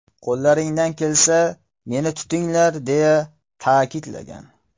Qo‘llaringdan kelsa, meni tutinglar”, deya ta’kidlagan .